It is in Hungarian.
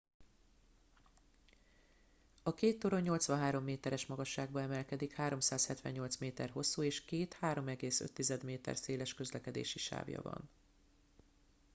a két torony 83 méteres magasságba emelkedik 378 méter hosszú és két 3,5 méter széles közlekedési sávja van